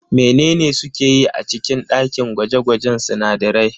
Menene suke yi a cikin ɗakin gwaje-gwajen sunadarai?